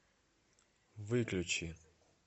выключи